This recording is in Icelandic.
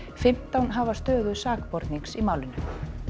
fimmtán hafa stöðu sakbornings í málinu